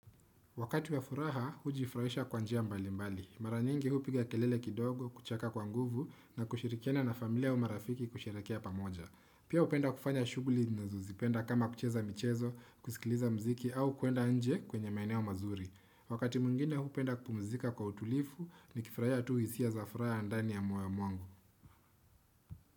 Wakati wa furaha, hujifurahisha kwa njia mbali mbali. Maranyingi huu piga kelele kidogo, kucheka kwa nguvu na kushirikiana na familia au marafiki kusherehekea pamoja. Pia hupenda kufanya shughuli nazozipenda kama kucheza michezo, kusikiliza mziki au kuenda nje kwenye maeneo mazuri. Wakati mwingine hupenda kupumzika kwa utulivu ni kifurahia tu hisia za furaha ndani ya moyo mwangu.